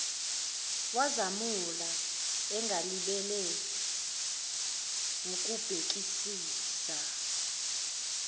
wazamula engalibele wukubhekisisa